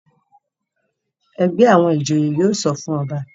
ègbé àwọn ìjòyè yóò sọfún ọba.